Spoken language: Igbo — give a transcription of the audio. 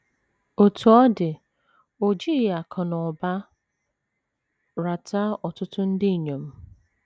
Otú ọ dị, o jighị akụ̀ na ụba rata ọtụtụ ndị inyom.